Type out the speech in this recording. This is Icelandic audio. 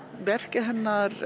verkið hennar